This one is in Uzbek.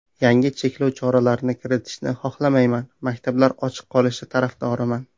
Yangi cheklov choralarini kiritishni xohlamayman, maktablar ochiq qolishi tarafdoriman.